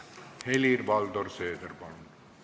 Helir-Valdor Seeder, palun!